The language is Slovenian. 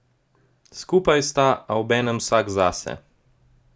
Skupaj sta, a obenem vsak zase.